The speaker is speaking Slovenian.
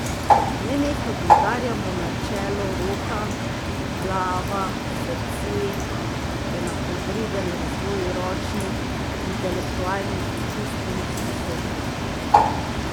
Nenehno poudarjamo načelo Roka, glava, srce, enakovreden razvoj ročnih, intelektualnih in čustvenih sposobnosti.